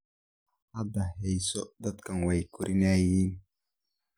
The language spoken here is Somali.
Hadan heeso dadhkan way koronaayin.